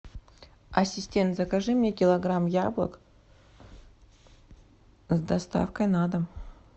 ассистент закажи мне килограмм яблок с доставкой на дом